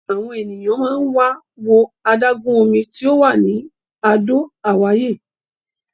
Àwọn ènìyàn máa ń wá wo adágún omi tí ò wà ní Àdó Àwáyé.